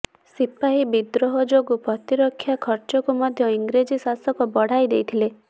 ସିପାହୀ ବିଦ୍ରୋହ ଯୋଗୁ ପ୍ରତିରକ୍ଷା ଖର୍ଚକୁ ମଧ୍ୟ ଇଂରେଜ ଶାସକ ବଢ଼ାଇଦେଇଥିଲେ